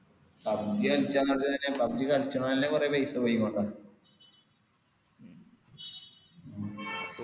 pubg കളിച്ചന്നു pubg കളിച്ചാൻ അല്ലെ കൊറേ പൈസ പോയികൊണ്ടാ ഉം